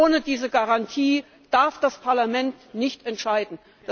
Ohne diese Garantie darf das Parlament nicht entscheiden.